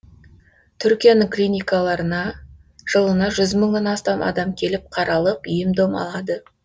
түркияның клиникаларына жылына жүз мыңнан астам адам келіп қаралып ем дом алады